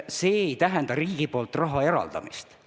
See ei tähenda riigi poolt raha eraldamist.